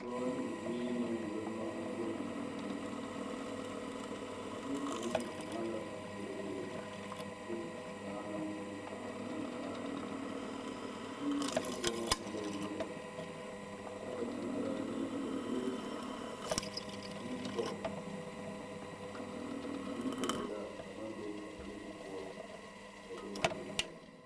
Doɔ ne o biire na wulo nomu bondidi dieŋ. A bie kang ŋmaa la boroboro a suuro a saa na eŋ nimikyaane. A bie na zukuomo e la yaga. Kyɛ ka kanga zaa niŋe, ka pilate ane foke ane yɔkolaa a maŋ be a pilate poʊ ba bondire poʊ.